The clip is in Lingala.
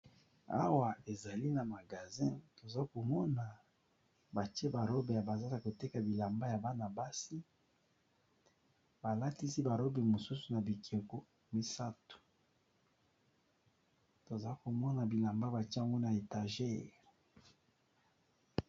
Awa ezali na magazin tozo komona batie ba robe ya ba zaza koteka bilamba ya bana basi, ba latisi ba robe mosusu na bikeko misato toza komona bilamba ba tia ngo na étager.